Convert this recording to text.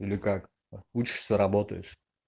или как учишься работаешь